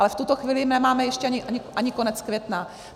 Ale v tuto chvíli nemáme ještě ani konec května.